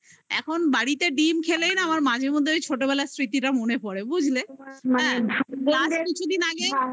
এখন বাড়িতে ডিম্ খেলেই না আমার মাঝে মধ্যে ওই ছোটবেলার স্মৃতিটা মনে পড়ে বুঝলে last কিছুদিন আগে